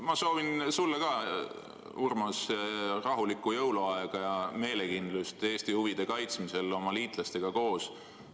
Ma soovin sulle, Urmas, ka rahulikku jõuluaega ja meelekindlust Eesti huvide kaitsmisel meie liitlastega koos!